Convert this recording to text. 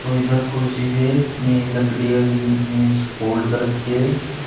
इधर कुर्सी भी है ऐं लकड़िया की मेज फोल्ड कर रखी है।